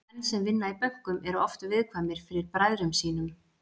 Menn sem vinna í bönkum eru oft viðkvæmir fyrir bræðrum sínum.